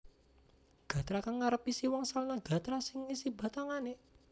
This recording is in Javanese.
Gatra kang ngarep isi wangsalan gatra sing isi batangané